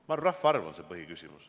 Ma arvan, et rahvaarv on see põhiküsimus.